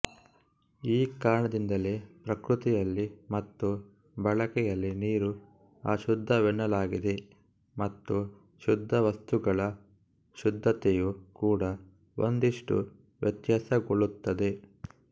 ಈ ಕಾರಣದಿಂದಲೇ ಪ್ರಕೃತಿಯಲ್ಲಿ ಮತ್ತು ಬಳಕೆಯಲ್ಲಿ ನೀರು ಅಶುದ್ಧವೆನ್ನಲಾಗಿದೆ ಮತ್ತು ಶುದ್ಧ ವಸ್ತುಗಳ ಶುದ್ಧತೆಯೂ ಕೂಡ ಒಂದಿಷ್ಟು ವ್ಯತ್ಯಾಸಗೊಳ್ಳುತ್ತದೆ